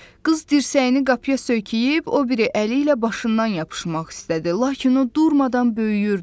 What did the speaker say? Qız dirsəyini qapıya söykəyib, o biri əli ilə başından yapışmaq istədi, lakin o durmadan böyüyürdü.